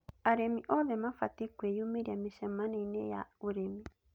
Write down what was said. Arĩmi oothe mabatiĩ kwĩyumĩria mĩcemanioinĩ ya ũrĩmi